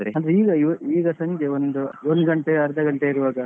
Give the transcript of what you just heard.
ಅಂದ್ರೆ ಈಗ ಈಗ ಸಂಜೆ ಒಂದು ಒಂದು ಗಂಟೆ ಅರ್ಧ ಗಂಟೆ ಇರುವಾಗ.